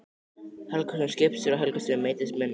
Helgason, skipstjóri á Helgustöðum, meiddist minna.